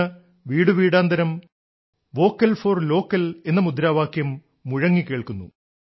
ഇന്ന് വീടുവീടാന്തരം vocal for local എന്ന മുദ്രാവാക്യം മുഴങ്ങി കേൾക്കുന്നു